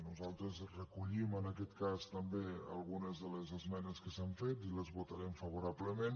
nosaltres recollim en aquest cas també algu·nes de les esmenes que s’han fet i les votarem fa·vorablement